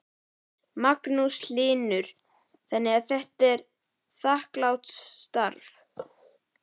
Magnús Hlynur: Þannig að þetta er þakklátt starf?